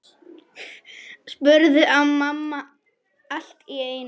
spurði mamma allt í einu.